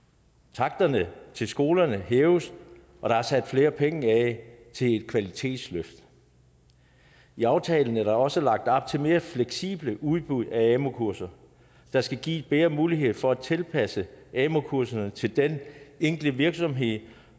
taksterne til skolerne hæves og der er sat flere penge af til et kvalitetsløft i aftalen er der også lagt op til mere fleksible udbud af amu kurser der skal give bedre mulighed for at tilpasse amu kuserne til den enkelte virksomhed